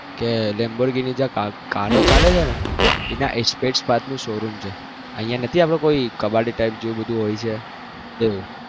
કારો ચાલે છે ને એના spare part નો શો રૂમ છે અહિયાં નથી આપડે કોઈ કબાડી type જોવું બધું હોય છે એવું